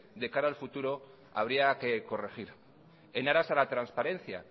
de cara al futuro habría que corregir en aras a la transparencia